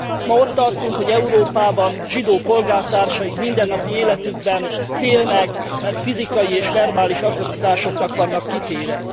Ma ott tartunk, hogy Európában zsidó polgártársaink mindennapi életükben félnek, mert fizikai és verbális atrocitásoknak vannak kitéve.